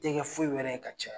Te kɛ foyi wɛrɛ ye ka ca .